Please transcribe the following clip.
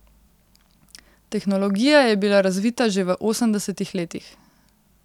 Tehnologija je bila razvita že v osemdesetih letih.